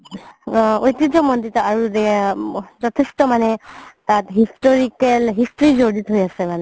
ঐতিহাসিক মন্দিৰ আৰু যথেষ্ট মানে আ historical history যৰিত হয় আছে মানে